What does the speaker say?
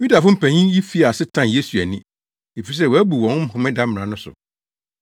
Yudafo mpanyin yi fii ase tan Yesu ani, efisɛ wabu wɔn homeda mmara no so.